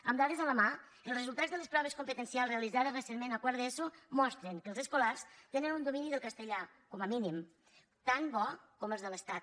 amb dades a la mà els resultats de les proves competencials realitzades recentment a quart d’eso mostren que els escolars tenen un domini del castellà com a mínim tan bo com els de l’estat